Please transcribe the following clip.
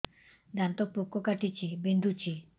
ଦାନ୍ତ ପୋକ କାଟିକି ବିନ୍ଧୁଛି